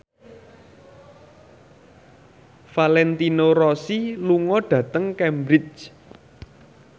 Valentino Rossi lunga dhateng Cambridge